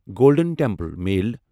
golden Temple mail